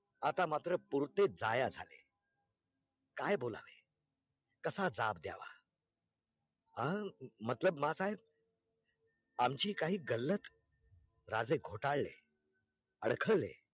आता मात्र पुरते जाया झाले, काय बोलावे कसा जाब द्यावा हा मतलब मा साहेब आमची कही गल्लत राजे घोटाळले अडखडले